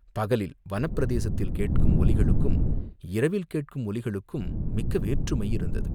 பகலில் வனப்பிரதேசத்தில் கேட்கும் ஒலிகளுக்கும் இரவில் கேட்கும் ஒலிகளுக்கும் மிக்க வேற்றுமை இருந்தது.